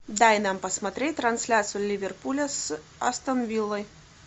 дай нам посмотреть трансляцию ливерпуля с астон виллой